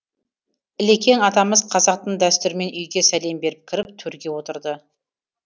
ілекең атамыз қазақтың дәстүрімен үйге сәлем беріп кіріп төрге отырды